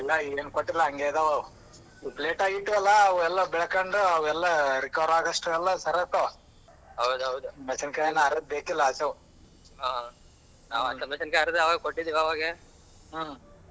ಇಲ್ಲ ಏನೂ ಕೊಟ್ಟಿಲ್ಲ ಅಂಗೆ ಅದವಾ ಅವು ಪ್ಲೇಟ ಗೀಟ ಎಲ್ಲ ಬೆಳಕೋಂದು ಅವೆಲ್ಲ recover ಆಗೋ ಅಷ್ಟರಲ್ಲಿ ಸರಿವೊಯ್ತವ ಮೆಣಸಿನಕಾಯಿ ಏನ್ ಅದ್ರ್ ಬೇಕಿಲ್ಲ ಆಚೆವು ಹೂ.